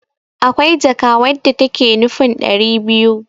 akwai jaka wadda take nufin dari biyu